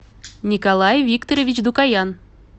николай викторович дукоян